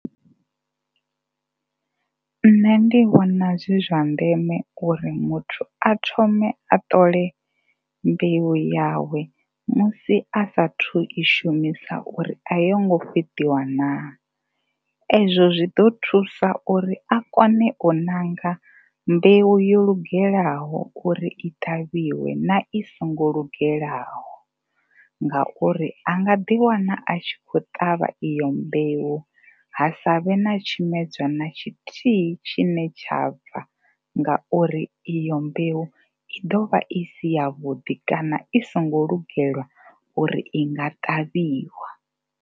Nṋe ndi vhona zwi zwa ndeme uri muthu a thome a ṱole mbeu yawe musi a saathu u i shumisa uri a yongo fheṱiwa naa. Ezwo zwi ḓo thusa uri a kone u ṋanga mbeu yo lugelaho uri i ṱavhiwe na i songo lungelaho ngauri a nga ḓiwana tshi khou ṱavha iyo mbeu ha sa vhe na tshimedzwa na tshithihi tshine tsha bva ngauri iyo mbeu ḓo vha i si yavhuḓi kana i songo lugelwa uri i nga ṱavhiwa.